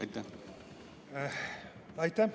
Aitäh!